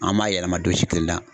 An ma yɛlɛma don si kelen na.